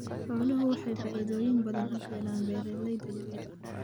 Xooluhu waxay faa'iidooyin badan u keenaan beeralayda yar yar.